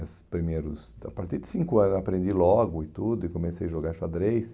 nesses primeiros, então a partir de cinco anos eu aprendi logo e tudo e comecei a jogar xadrez.